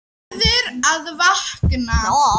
Verður að vakna.